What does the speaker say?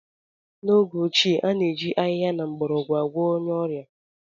N'oge ochie, a na-eji ahịhịa na mgbọrọgwụ agwọọ onye ọrịa.